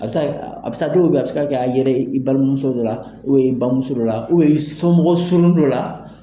A bɛ se ka kɛ, a a bɛ se ka kɛ dɔw bɛ a bɛ se ka kɛ a yera i balimamuso dɔ la, bamuso dɔ la, somɔgɔ surun dɔ la.